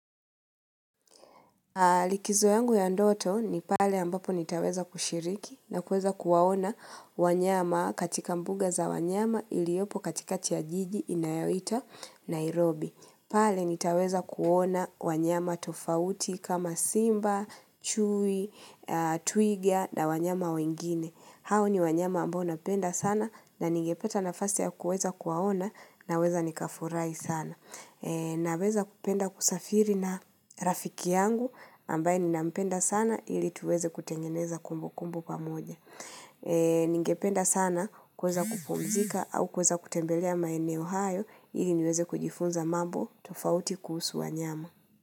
Likizo yangu ya ndoto ni pale ambapo nitaweza kushiriki na kueza kuwaona wanyama katika mbuga za wanyama iliopo katikati ya jiji inayoitwa Nairobi. Pale nitaweza kuona wanyama tofauti kama simba, chui, twiga, na wanyama wengine. Hao ni wanyama ambao napenda sana na ningepata nafasi ya kuweza kuwaona naweza nikafurahi sana. Naweza kupenda kusafiri na rafiki yangu ambaye ninampenda sana ili tuweze kutengeneza kumbukumbu pamoja. Ningependa sana kuweza kupumzika au kuweza kutembelea maeneo haya ili niweze kujifunza mambo tofauti kuhusu wanyama.